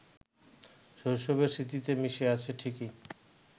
শৈশবের স্মৃতিতে মিশে আছে ঠিকই